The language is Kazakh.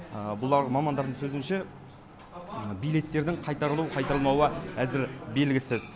бұлар мамандардың сөзінше билеттердің қайтарылу қайтарылмауы әзір белгісіз